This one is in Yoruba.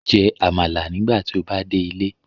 Jẹ amala nigbati o ba de ile